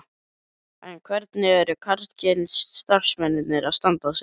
En hvernig eru karlkyns starfsmennirnir að standa sig?